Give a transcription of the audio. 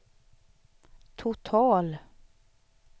total